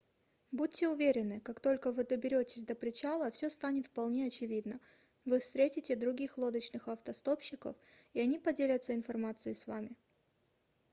будьте уверены как только вы доберетесь до причала все станет вполне очевидно вы встретите других лодочных автостопщиков и они поделятся информацией с вам